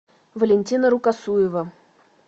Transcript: валентина рукосуева